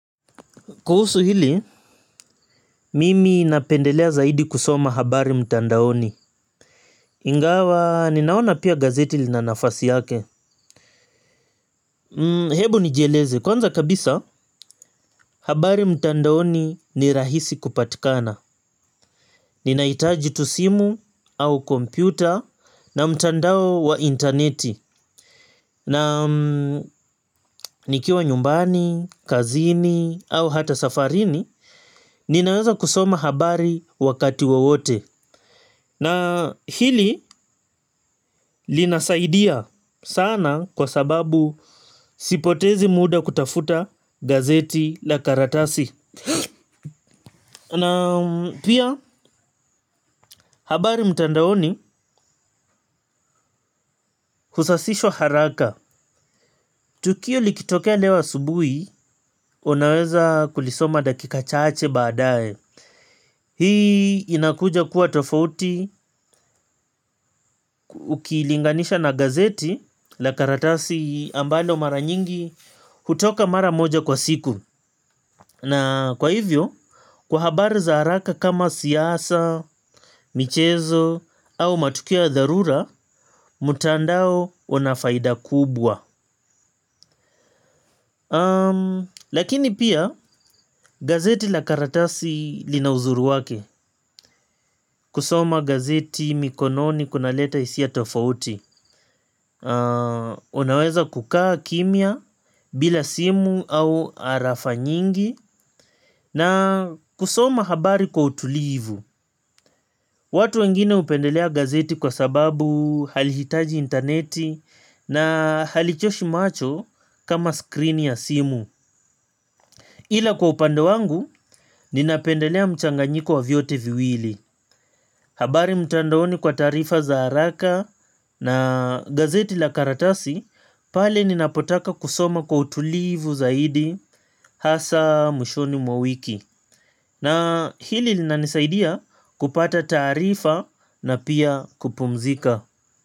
Kuhusu hili, mimi napendelea zaidi kusoma habari mtandaoni. Ingawa, ninaona pia gazeti lina nafasi yake. Hebu nijieleze, kwanza kabisa habari mtandaoni ni rahisi kupatikana. Ninahitaji tu simu au kompyuta na mtandao wa interneti. Na nikiwa nyumbani, kazini au hata safarini, ninaweza kusoma habari wakati wowote. Na hili linasaidia sana kwa sababu sipotezi muda kutafuta gazeti la karatasi. Na pia habari mtandaoni husasishwa haraka. Tukio likitokea leo asubui, unaweza kulisoma dakika chache baadae. Hii inakuja kuwa tofauti ukilinganisha na gazeti la karatasi ambalo mara nyingi hutoka mara moja kwa siku. Na kwa hivyo, kwa habari za haraka kama siasa, michezo, au matukio ya dharura, mtandao una faida kubwa. Lakini pia, gazeti la karatasi lina uzuri wake. Kusoma gazeti mikononi kunaleta hisia tofauti. Unaweza kukaa kimya bila simu au arafa nyingi. Na kusoma habari kwa utulivu. Watu wengine hupendelea gazeti kwa sababu halihitaji interneti na halichoshi macho kama screen ya simu. Ila kwa upande wangu ninapendelea mchanganyiko wa vyote viwili. Habari mtandaoni kwa taarifa za haraka na gazeti la karatasi pale ninapotaka kusoma kwa utulivu zaidi hasa mwishoni mwa mwiki. Na hili linanisaidia kupata tarifa na pia kupumzika.